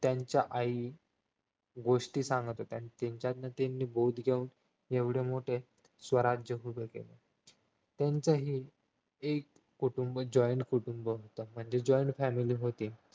त्यांच्या आई गोष्टी सांगत होत्या त्याच्यातुन त्यांनी बोध घेऊन एवढे मोठे स्वराज्य उभे केले त्यांचंही एक कुटुंब joint कुटुंब होते म्हणजे joint family होती